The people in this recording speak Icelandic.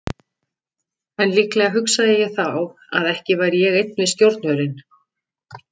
En líklega hugsaði ég þá að ekki væri ég einn við stjórnvölinn.